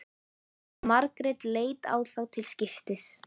Margrét leit á þá til skiptis.